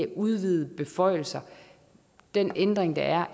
udvidede beføjelser den ændring der er